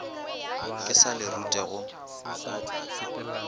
ka se le rute go